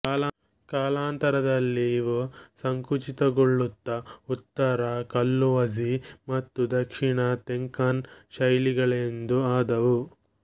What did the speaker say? ಕಾಲಾಂತರದಲ್ಲಿ ಇವು ಸಂಕುಚಿತಗೊಳ್ಳುತ್ತ ಉತ್ತರ ಕಲ್ಲುವಝಿ ಮತ್ತು ದಕ್ಷಿಣ ತೆಂಕನ್ ಶೈಲಿಗಳೆಂದು ಆದವು